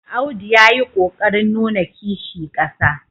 Audu ya yi ƙo ƙarin nuna Kishi ƙasa.